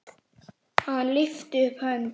Hann lyfti upp hönd.